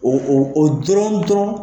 O o dɔrɔn dɔrɔn.